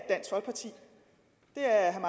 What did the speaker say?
herre